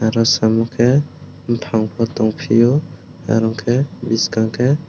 rasamukhe bufang bo tongfio aro ke bwskang ke--